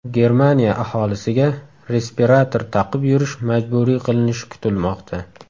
Germaniya aholisiga respirator taqib yurish majburiy qilinishi kutilmoqda.